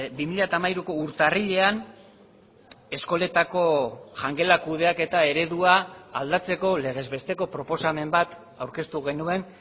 bi mila hamairuko urtarrilean eskoletako jangela kudeaketa eredua aldatzeko legez besteko proposamen bat aurkeztu genuen